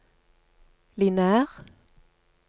lineær